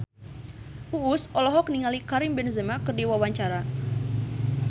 Uus olohok ningali Karim Benzema keur diwawancara